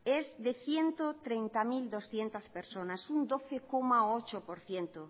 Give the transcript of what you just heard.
es de ciento treinta mil doscientos personas un doce coma ocho por ciento